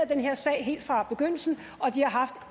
den her sag helt fra begyndelsen og de har haft